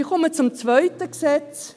Ich komme zum zweiten Gesetz.